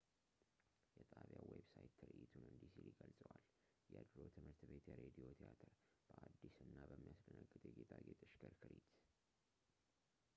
የጣቢያው ዌብሳይት ትርዒቱን እንዲህ ሲል ይገልጸዋል የድሮ ትምህርት ቤት የሬዲዮ ቲያትር በአዲስ እና በሚያስደነግጥ የጌጣጌጥ ሽክርክሪት